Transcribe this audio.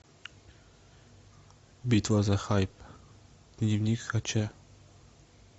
битва за хайп дневник хача